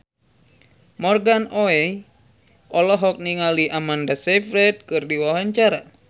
Morgan Oey olohok ningali Amanda Sayfried keur diwawancara